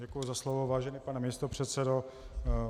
Děkuji za slovo, vážený pane místopředsedo.